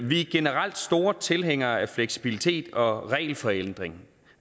vi er generelt store tilhængere af fleksibilitet og regelforenkling